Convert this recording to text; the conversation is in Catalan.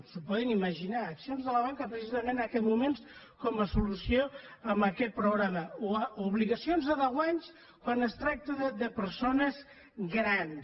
s’ho poden imaginar accions de la banca precisament en aquests moments com a solució a aquest problema o obligacions a deu anys quan es tracta de persones grans